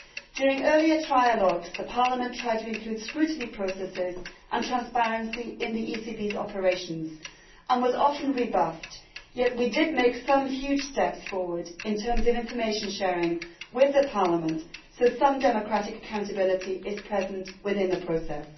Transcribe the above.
During earlier trialogues the Parliament tried to include scrutiny processes and transparency in the ECB's operations and was often rebuffed, yet we did make some huge steps forward in terms of information sharing with Parliament, so some democratic accountability is present within the process.